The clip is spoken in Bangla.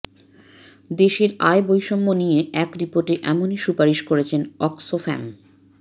দেশের আয় বৈষম্য নিয়ে এক রিপোর্টে এমনই সুপারিশ করেছে অক্সফ্যাম